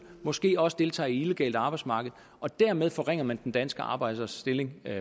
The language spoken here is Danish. måske også deltager illegale arbejdsmarked dermed forringer man den danske arbejders stilling